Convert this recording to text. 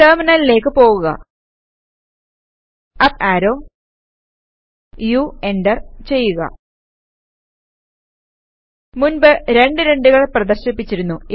ടെർമിനലിലേക്ക് പോകുക up arrow U enter ചെയ്യുക മുൻപ് രണ്ട് 2 കൾ പ്രദർശിപ്പിച്ചിരുന്നു